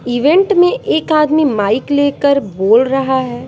Event में एक आदमी माइक लेकर बोल रहा है।